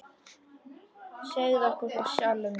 Segðu okkur frá sjálfum þér.